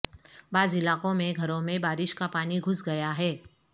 بعض علاقوں میں گھروں میں بارش کا پانی گھس گیا ہے